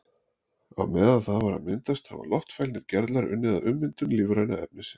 Á meðan það var að myndast hafa loftfælnir gerlar unnið að ummyndun lífræna efnisins.